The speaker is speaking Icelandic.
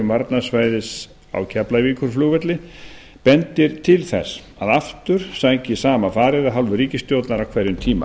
varnarsvæðis á keflavíkurflugvelli bendir til þess að aftur sækir í sama farið af hálfu ríkisstjórnar á hverjum tíma